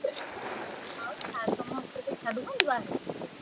ଆଉ sir ତମ hostel ରେ ଛାଡୁଛନ୍ତି ବାହାରକୁ ବୁଲିଆକୁ?